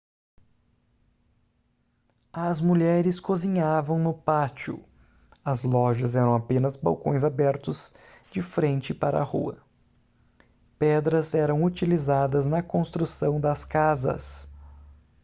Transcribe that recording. as mulheres cozinhavam no pátio as lojas eram apenas balcões abertos de frente para a rua pedras eram utilizadas na construção das casas